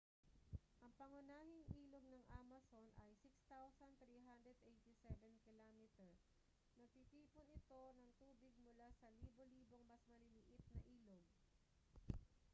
ang pangunahing ilog ng amazon ay 6,387 km 3,980 milya. nagtitipon ito ng tubig mula sa libo-libong mas maliliit na ilog